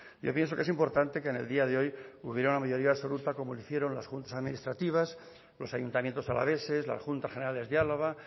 yo pienso que es importante que en el día de hoy hubiera una mayoría absoluta como hicieron las juntas administrativas los ayuntamientos alaveses las juntas generales de álava